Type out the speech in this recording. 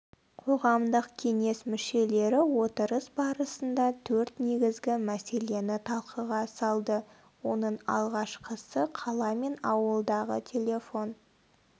қоғамдық кеңес мүшелері отырыс барысында төрт негізгі мәселені талқыға салды оның алғашқысы қала мен ауылдағы телефон